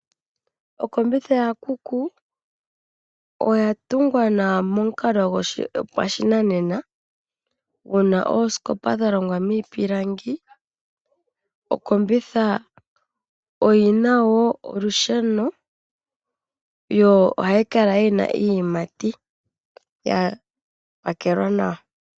Okombitha ya kuku, oya tungwa nawa pamukalo, gwopashinanena. Muna oosikopa dha longwa miipilangi, okombitha oyina wo olusheno, yo oha yi kala yina iiyimati ya pakelwa nawa.